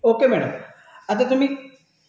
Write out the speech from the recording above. okay madam आता तुम्ही